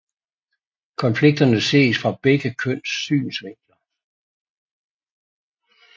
Konflikterne ses fra begge køns synsvinkler